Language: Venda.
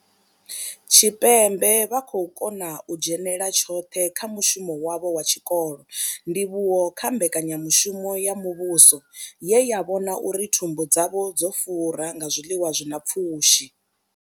Tshipembe vha khou kona u dzhenela tshoṱhe kha mushumo wavho wa tshikolo, ndivhuwo kha mbekanyamushumo ya muvhuso ye ya vhona uri thumbu dzavho dzo fura nga zwiḽiwa zwi na pfushi.